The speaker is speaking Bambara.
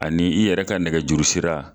Ani yɛrɛ ka nɛgɛjuru sira.